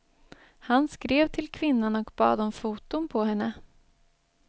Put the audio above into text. Han skrev till kvinnan och bad om foton på henne.